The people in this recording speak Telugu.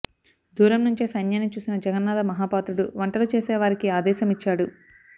దూరం నుంచే సైన్యాన్ని చూసిన జగన్నాధ మహాపాత్రుడు వంటలు చేసే వారికి ఆదేశ మిచ్చాడు